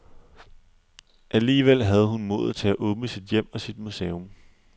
Alligevel havde hun modet til at åbne sit hjem og sit museum.